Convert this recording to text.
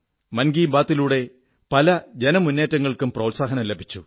മൻ കീബാത്തിലൂടെ പല ജനമുന്നേറ്റങ്ങൾക്കും പ്രോത്സാഹനം ലഭിച്ചു